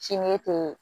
Sini tɛ